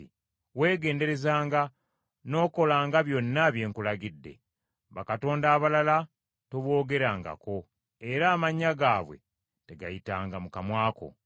“Weegenderezanga n’okolanga byonna bye nkulagidde. Bakatonda abalala toboogerangako, era amannya gaabwe tegayitanga mu kamwa ko.